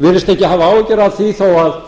virðist ekki hafa áhyggjur af því þó að